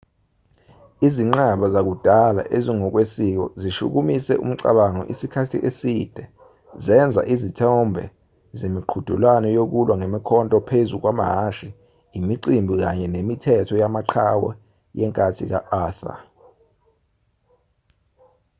izinqaba zakudala ezingokwesiko zishukumise umcabango isikhathi eside zenza izithombe zemiqhudelwano yokulwa ngemikhonto phezu kwamahhashi imicimbi kanye nemithetho yamaqhawe yenkathi ka-arthur